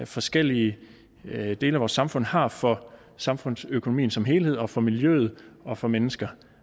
forskellige dele af vores samfund har for samfundsøkonomien som helhed og for miljøet og for mennesker